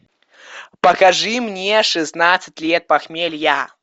покажи мне шестнадцать лет похмелья